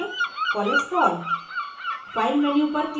उदाहरण के लिए cholesterol